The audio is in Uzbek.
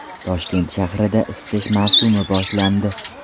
Toshkent shahrida isitish mavsumi boshlandi.